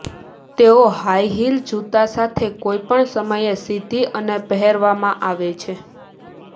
તેઓ high heel જૂતા સાથે કોઈપણ સમયે સીધી અને પહેરવામાં આવે છે